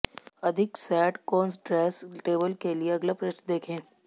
अधिक set concordance table के लिए अगला पृष्ठ देखें